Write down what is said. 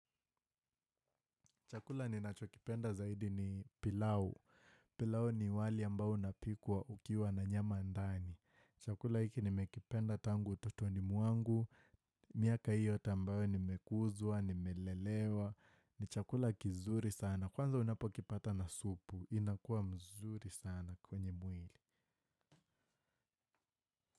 Chakula ninacho kipenda zaidi ni pilau. Pilau ni wali ambao unapikwa ukiwa na nyama ndani. Chakula hiki nimekipenda tangu ututoni mwangu. Miaka hiyo yote ambayo nimekuzwa, nimelelewa. Ni chakula kizuri sana. Kwanza unapo kipata na supu. Inakuwa mzuri sana kwenye mwili.